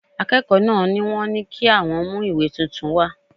Akẹ́kọ̀ọ́ náà ni wọ́n ní kí àwọn mú ìwé tuntun wá